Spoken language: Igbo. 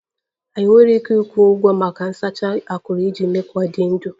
Anyị enweghị ike ịkwụ ụgwọ maka nsacha akuru iji mee ka ọ dị ndụ